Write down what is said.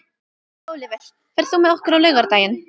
Ólíver, ferð þú með okkur á laugardaginn?